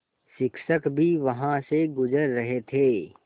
शिक्षक भी वहाँ से गुज़र रहे थे